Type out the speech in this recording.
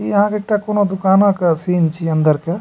इ आहां के एकटा कोनो दुकाना के सीन छी अंदर के।